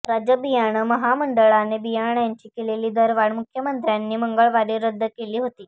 राज्य बियाणं महामंडळाने बियाण्यांची केलेली दरवाढ मुख्यमंत्र्यांनी मंगळवारी रद्द केली होती